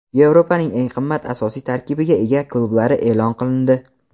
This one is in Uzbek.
Yevropaning eng qimmat asosiy tarkibga ega klublari e’lon qilindi.